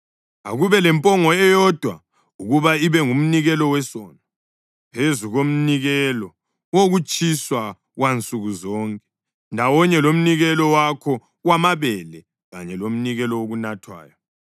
Akube lempongo eyodwa ukuba ibe ngumnikelo wesono, phezu komnikelo wokutshiswa wansuku zonke ndawonye lomnikelo wakho wamabele kanye lomnikelo wokunathwayo.